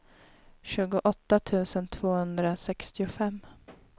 tjugoåtta tusen tvåhundrasextiofem